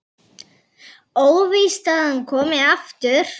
Óvíst að hann komi aftur.